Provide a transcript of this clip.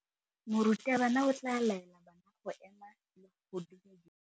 Morutabana o tla laela bana go ema le go go dumedisa.